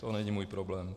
To není můj problém.